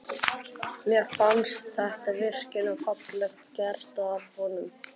Mér fannst þetta virkilega fallega gert af honum.